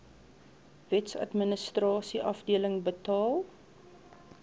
wetsadministrasie afdeling betaal